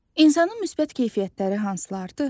İnsanın müsbət keyfiyyətləri hansılardır?